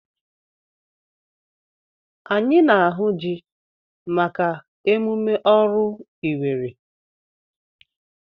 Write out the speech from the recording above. Anyị na-ahụ ji maka emume oru Iwere.